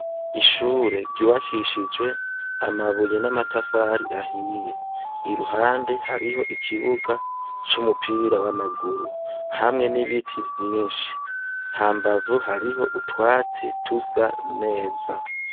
Ishure ryubakishijwe amabuye n'amatafari ahiye, iruhande hariho ikibuga c'umupira w'amaguru, hamwe n'ibiti vyinshi hambavu hariho utwatsi dusa neza .